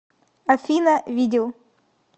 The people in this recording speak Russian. афина видел